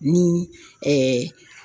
Ni